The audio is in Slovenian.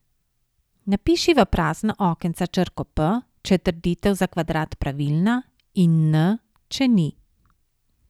Napiši v prazna okenca črko P, če je trditev za kvadrat pravilna, in N, če ni.